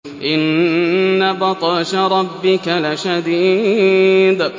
إِنَّ بَطْشَ رَبِّكَ لَشَدِيدٌ